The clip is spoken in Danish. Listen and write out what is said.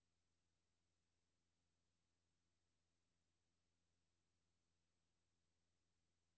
Hun vil huske det resten af livet, sagde min veninde og jeg alvorligt til hinanden.